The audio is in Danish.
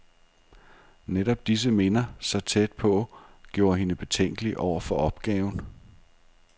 Netop disse minder, så tæt på, gjorde hende betænkelig over for opgaven.